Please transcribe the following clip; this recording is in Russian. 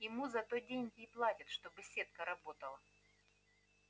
ему за то деньги и платят чтобы сетка работала